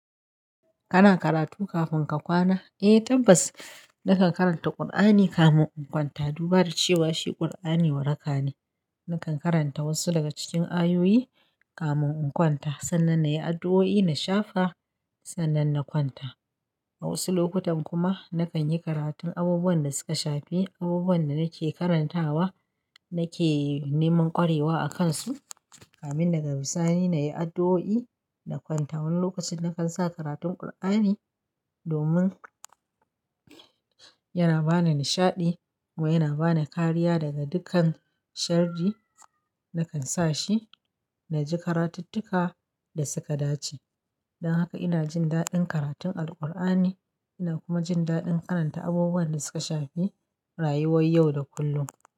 Kana karatu kafin ka kwana? Eh tabbas nakan karanta Kur'ani kamin in kwanta. Duba da cewa shi Kur'ani waraka ne, nakan karanta wasu daga cikin ayoyi kamin in kwanta. Sannan na yi addu'o'i na shafa, sannan na kwanta. A wasu lokutan kuma nakan yi karatun abubuwan da suka shafi abubuwan da nake karantawa nake neman kwarewa a kansu kamin na gabi sani na yi addu'o'i na kwanta. Wani lokacin na kan sa karatun Kur'ani domin yana ba ni nishaɗi kuma yana ba ni kariya daga dukan sharri. Nakan sa shi na ji karatuttuka da suka dace. Don haka ina jin daɗin karatun Alkur'ani ina kuma jin daɗin karanta abubuwan da suka shafi rayuwar yau da kullum.